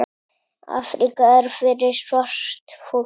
Afríka er fyrir svart fólk.